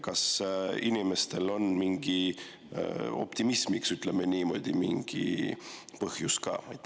Kas inimestel on ka optimismiks, ütleme niimoodi, mingi põhjus?